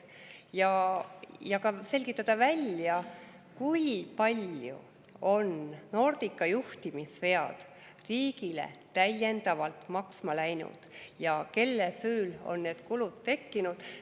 on ka selgitada välja, kui palju on Nordica juhtimisvead riigile täiendavalt maksma läinud ja kelle süül on need kulud tekkinud.